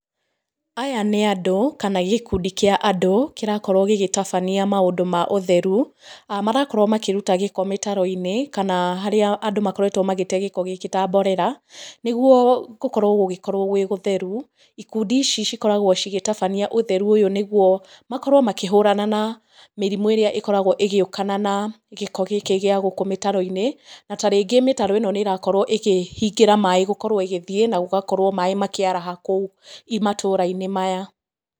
Aya nĩ andũ, kana gĩkundi kĩa andũ, kĩrakorwo gĩgĩtabania maũndũ ma ũtheru, marakorwo makĩruta gĩko mĩtaro-inĩ, kana harĩa andũ makoretwo magĩte gĩko gĩkĩ ta mborera, nĩguo gũkorwo gũgĩkorwo gwĩ gũtheru. Ikundi ici cikoragwo cigĩtabania ũtheru ũyũ nĩguo, makorwo makĩhũrana na mĩrimũ ĩrĩa ĩkoragwo ĩgĩũkana na gĩko gĩkĩ gĩa gũkũ mĩtaro-inĩ. Na ta rĩngĩ mĩtaro ĩno nĩ ĩrakorwo ĩkĩhingĩra maaĩ gũkorwo ĩgĩthiĩ, na gũgakorwo maaĩ makĩaraha kũu matũũra-inĩ maya.